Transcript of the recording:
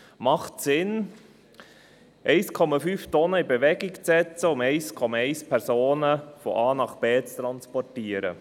Macht es Sinn, 1,5 Tonnen in Bewegung zu setzen, um 1,1 Personen von A nach B zu transportieren?